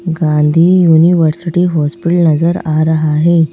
Gandhi university hospital नजर आ रहा है।